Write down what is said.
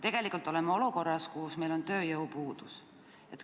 Me oleme olukorras, kus meil on tegelikult tööjõupuudus.